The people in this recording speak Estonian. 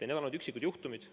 Need on olnud üksikud juhtumid.